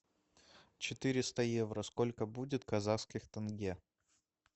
четыреста евро сколько будет казахских тенге